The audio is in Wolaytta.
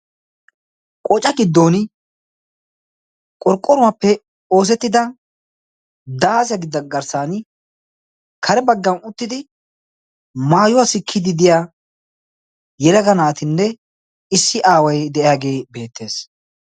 qooca giddon qorqqoruwaappe oosettida daasiya gidda garssan kare baggan uttidi maayuwaa sikkiidi diya yeraga naatinne issi aaway de'aagee beettees